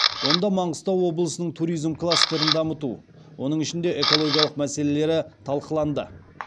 онда маңғыстау облысының туризм кластерін дамыту оның ішінде экологиялық мәселелері талқыланды